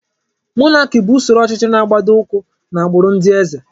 Mọnaki bụ usoro ọchịchị na-agbado ụkwụ n'agbụrụ ndị eze.